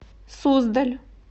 суздаль